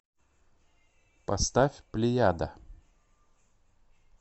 поставь плеяда